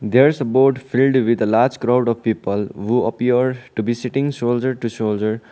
there is a boat filled with a large crowd of people oh appeared to be sitting shoulder to shoulder.